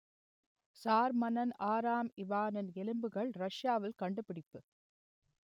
sir மன்னன் ஆறாம் இவானின் எலும்புகள் ரஷ்யாவில் கண்டுபிடிப்பு